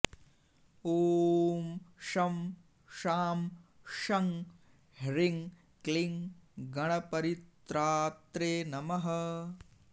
ॐ शं शां षं ह्रीं क्लीं गणपरित्रात्रे नमः